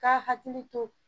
K'a hakili to.